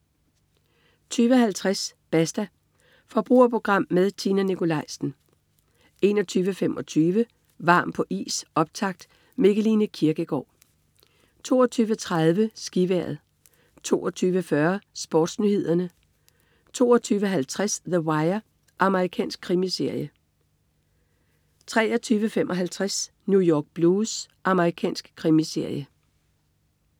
20.50 Basta. Forbrugerprogram med Tina Nikolaisen 21.25 Varm på is, optakt. Mikkeline Kirkegaard 22.30 SkiVejret 22.40 SportsNyhederne 22.50 The Wire. Amerikansk krimiserie 23.55 New York Blues. Amerikansk krimiserie